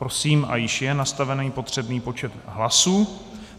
Prosím - a již je nastaven potřebný počet hlasů.